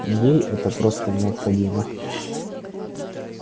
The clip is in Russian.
ей это просто необходимо